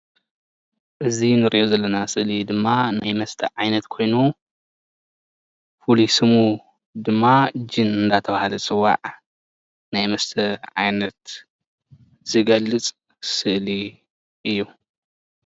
እዚ እንሪኦ ዘለና ስእሊ ድማ ናይ መስተ ዓይነት ኮይኑ ፍሉይ ስሙ ድማ ጅን እንዳተባሃለ ዝፅዋዕ ናይ መስተ ዓይነት ዝገልፅ ስእሊ እዩ፡፡